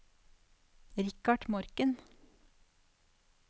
Richard Morken